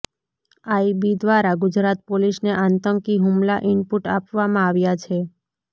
IB દ્વારા ગુજરાત પોલીસને આતંકી હુમલા ઈનપુટ આપવામાં આવ્યા છે